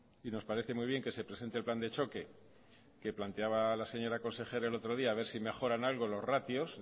y nos parece muy bien que se presente el plan de choque que planteaba la señora consejera el otro día a ver si mejora en algo los ratios